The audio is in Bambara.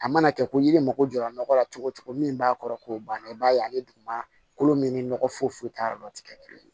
A mana kɛ ko yiri mago jɔra nɔgɔ la cogo o cogo min b'a kɔrɔ k'o banna i b'a ye ani dugumana kolo min ni nɔgɔ foyi t'a yɔrɔ la o tɛ kɛ kelen ye